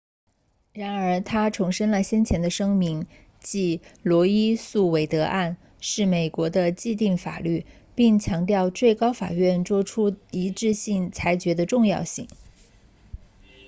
然而他重申了先前的声明即罗伊诉韦德案 roe v wade 是美国的既定法律并强调最高法院作出一致性裁决的重要性